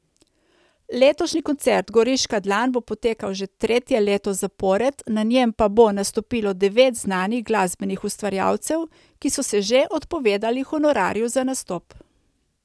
Letošnji koncert Goriška dlan bo potekal že tretje leto zapored, na njem pa bo nastopilo devet znanih glasbenih ustvarjalcev, ki so se že odpovedali honorarju za nastop.